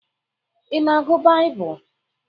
Ị na-agụ Baịbụl?